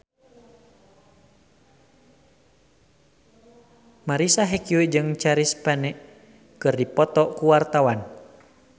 Marisa Haque jeung Chris Pane keur dipoto ku wartawan